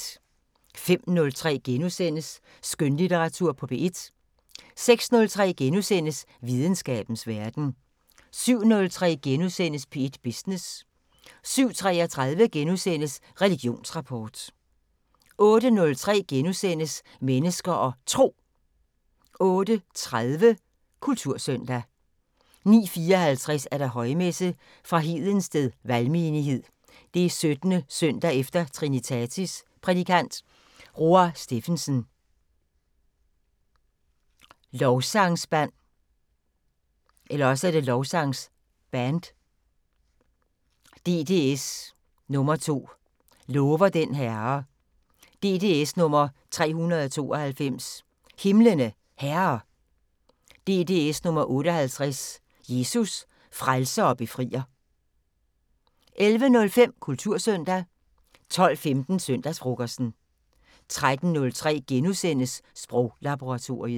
05:03: Skønlitteratur på P1 * 06:03: Videnskabens Verden * 07:03: P1 Business * 07:33: Religionsrapport * 08:03: Mennesker og Tro * 08:30: Kultursøndag 09:54: Højmesse - Fra Hedensted Valgmenighed. 17. søndag efter Trinitatis Prædikant: Roar Steffensen. Lovsangsband. DDS nr. 2: "Lover den Herre". DDS nr. 392: "Himlene Herre". DDS nr. 58: "Jesus, Frelser og Befrier". 11:05: Kultursøndag 12:15: Søndagsfrokosten 13:03: Sproglaboratoriet *